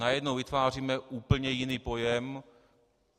Najednou vytváříme úplně jiný pojem.